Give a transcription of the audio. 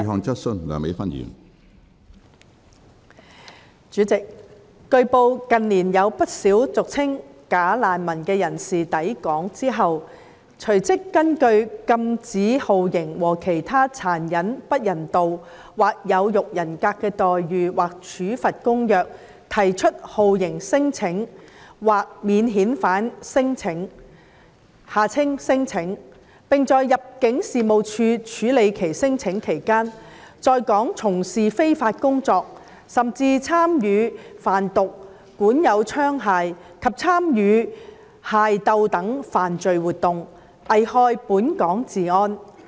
主席，據報，近年有不少俗稱"假難民"的人士抵港後，隨即根據《禁止酷刑和其他殘忍、不人道或有辱人格的待遇或處罰公約》提出酷刑聲請或免遣返聲請，並在入境事務處處理其聲請期間，在港從事非法工作，甚至參與販毒、管有槍械及參與械鬥等犯罪活動，危害本港治安。